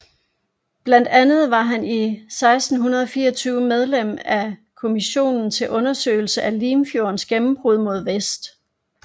Blandt andet var han i 1624 medlem af Kommissionen til Undersøgelse af Limfjordens Gennembrud mod Vest